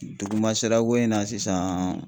Duguma sirako in na sisan